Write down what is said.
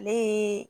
Ale ye